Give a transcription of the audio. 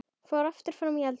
Fór aftur fram í eldhús.